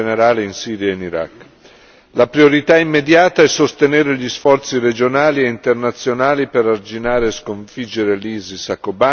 La priorità immediata è sostenere gli sforzi regionali e internazionali per arginare e sconfiggere l'ISIS, a Kobane e nel resto della regione.